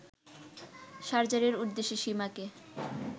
সার্জারির উদ্দেশ্যে সীমাকে